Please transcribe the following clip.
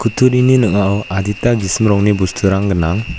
kutturini ning·ao adita gisim rongni bosturang gnang.